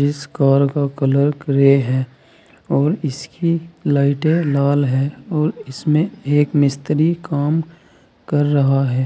जिस कार का colour grey है और इसकी लाइटें लाल है और इसमें एक मिस्त्री काम कर रहा है।